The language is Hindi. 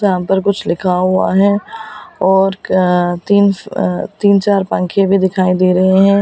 यहाँ पर पर कुछ लिखा हुआ है और तीन तीन चार पंखे भी दिखाई दे रहे हैं।